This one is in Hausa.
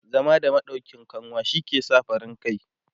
zama da maɗauƙin kanwa shi ke sa farin kai